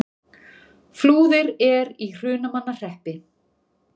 Flúðir er í Hrunamannahreppi.